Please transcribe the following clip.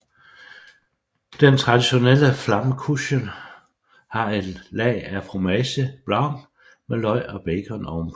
Den traditionelle Flammkuchen har et lag af fromage blanc med løg og bacon ovenpå